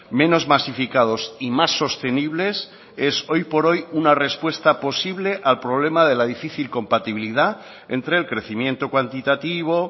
menos masificados y más sostenibles es hoy por hoy una respuesta posible al problema de la difícil compatibilidad entre el crecimiento cuantitativo